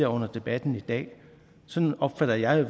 under debatten i dag sådan opfatter jeg